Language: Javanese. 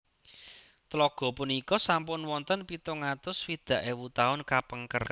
Tlaga punika sampun wonten pitung atus swidak ewu taun kapengker